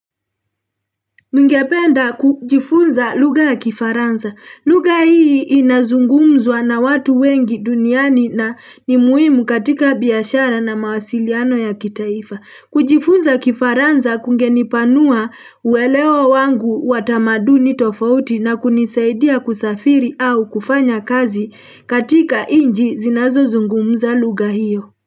Ningependa kujifunza lugha ya kifaransa. Lugha hii inazungumzwa na watu wengi duniani na nimuhimu katika biashara na mawasiliano ya kitaifa. Kujifunza kifaransa kunge nipanua uelewa wangu watamaduni tofauti na kunisaidia kusafiri au kufanya kazi katika nchi zinazo zungumza lugha hiyo.